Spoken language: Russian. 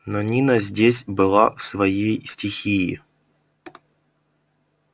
но нина здесь была в своей стихии